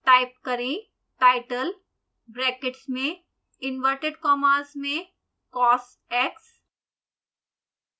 type करें title brackets में inverted commas में cosx